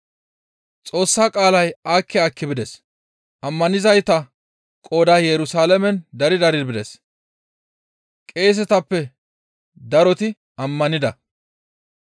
Xoossa qaalay aakki aakki bides; ammanizayta qooday Yerusalaamen dari dari bides; qeesetappe daroti ammanida.